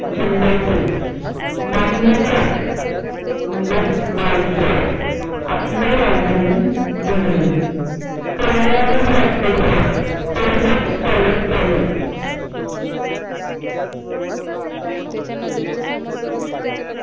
जिल्ह्यातील म्हणजेच मालखेड आपली राजधानी बनवली.